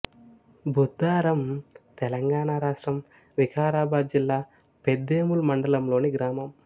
బుద్దారం తెలంగాణ రాష్ట్రం వికారాబాదు జిల్లా పెద్దేముల్ మండలంలోని గ్రామం